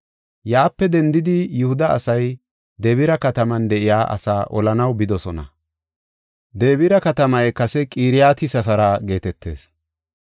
Yaape dendidi Yihuda asay Debira kataman de7iya asaa olanaw bidosona. Debira katamay kase Qiriyat-Sefera geetetees.